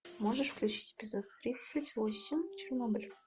можешь включить эпизод тридцать восемь чернобыль